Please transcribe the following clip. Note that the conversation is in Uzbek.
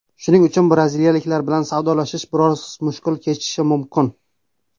Shuning uchun braziliyaliklar bilan savdolashish biroz mushkul kechishi mumkin.